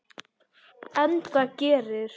Enda gerir